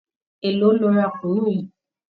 Élòó lo ra kùnú yìí?